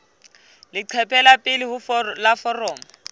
leqephe la pele la foromo